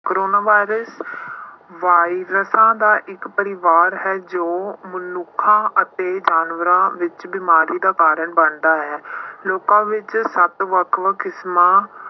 corona virus ਵਾਇਰਸਾਂ ਦਾ ਇੱਕ ਪਰਿਵਾਰ ਹੈ ਜੋ ਮਨੁੱਖਾਂ ਅਤੇ ਜਾਨਵਰਾਂ ਵਿੱਚ ਬਿਮਾਰੀ ਦਾ ਕਾਰਨ ਬਣਦਾ ਹੈ ਲੋਕਾਂ ਵਿੱਚ ਸੱਤ ਵੱਖ ਵੱਖ ਕਿਸ਼ਮਾਂ